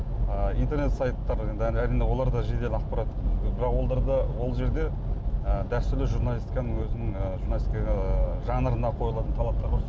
ы интернет сайттары енді әрине олар да жедел ақпарат бірақ оларда ол жерде дәстүрлі і журналистиканың өзінің ы журналистикаға ыыы жанрына қойылатын талаптар болсын